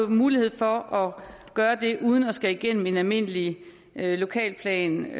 mulighed for at gøre det uden at skulle igennem en almindelig lokalplanændring